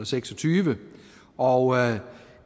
seks og tyve og